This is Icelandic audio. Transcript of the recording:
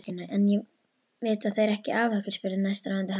En vita þeir ekki af okkur? spurði næstráðandi hans.